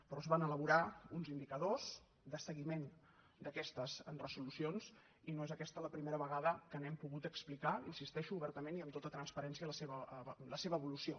però es van elaborar uns indicadors de seguiment d’aquestes resolucions i no és aquesta la primera vegada que n’hem pogut explicar hi insisteixo obertament i amb tota transparència l’evolució